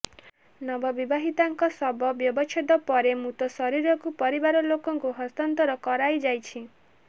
ନବ ବିବାହିତାଙ୍କ ଶବ ବ୍ୟବଚ୍ଛେଦ ପରେ ମୃତ ଶରୀରକୁ ପରିବାର ଲୋକଙ୍କୁ ହସ୍ତାନ୍ତର କରାଇଯାଇଛି